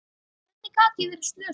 Hvernig gat ég verið slösuð?